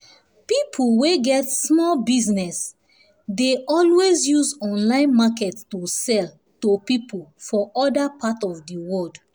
people wey get small business dey dey always use online market to sell to people for other part of di world